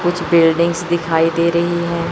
कुछ बिल्डिंग्स दिखाई दे रही हैं।